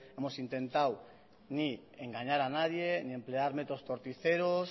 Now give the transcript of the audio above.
hemos intentado ni engañar a nadie ni emplear métodos torticeros